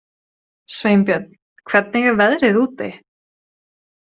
Sveinbjörn, hvernig er veðrið úti?